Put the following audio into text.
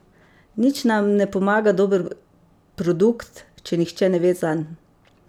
Nič nam ne pomaga dober produkt, če nihče ne ve zanj.